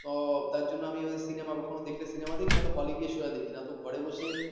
ও তার জন্য cinema কখনো দেখলে cinema দেখি না হলে গিয়ে সোজা দেখি না তো ঘরে